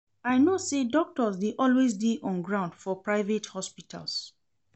I know sey doctors dey always dey on ground for private hospitals.